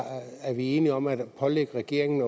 er vi enige om at pålægge regeringen